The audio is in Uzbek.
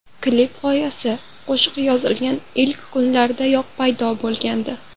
Klip g‘oyasi qo‘shiq yozilgan ilk kunlardayoq paydo bo‘lgandi.